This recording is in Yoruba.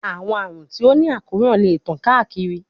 Awọn arun ti o ni akoran le tan kaakiri